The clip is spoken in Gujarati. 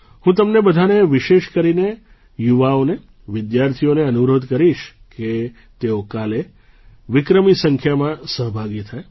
હું તમને બધાને વિશેષ કરીને યુવાઓને વિદ્યાર્થીઓને અનુરોધ કરીશ કે તેઓ કાલે વિક્રમી સંખ્યામાં સહભાગી થાય